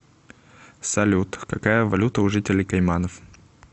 салют какая валюта у жителей кайманов